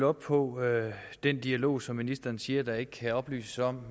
op på den dialog som ministeren siger at der ikke kan oplyses om